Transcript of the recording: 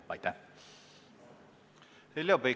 Heljo Pikhof, palun!